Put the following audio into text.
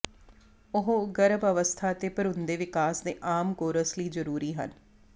ਉਹ ਗਰਭ ਅਵਸਥਾ ਅਤੇ ਭਰੂਣ ਦੇ ਵਿਕਾਸ ਦੇ ਆਮ ਕੋਰਸ ਲਈ ਜਰੂਰੀ ਹਨ